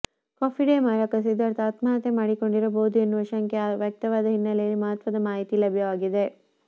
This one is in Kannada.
ಕಾಫಿ ಡೇ ಮಾಲೀಕ ಸಿದ್ಧಾರ್ಥ್ ಆತ್ಮಹತ್ಯೆ ಮಾಡಿಕೊಂಡಿರಬಹುದು ಎನ್ನುವ ಶಂಕೆ ವ್ಯಕ್ತವಾದ ಹಿನ್ನೆಲೆಯಲ್ಲಿ ಮಹತ್ವದ ಮಾಹಿತಿ ಲಭ್ಯವಾಗಿದೆ